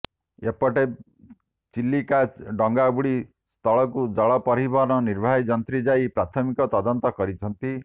ଏପଟେ ଚି ଲିକା ଡଙ୍ଗାବୁଡି ସ୍ଥଳକୁ ଜଳ ପରିବହନ ନିର୍ବାହୀ ଯନ୍ତ୍ରୀ ଯାଇ ପ୍ରାଥମିକ ତଦନ୍ତ କରିଛନ୍ତି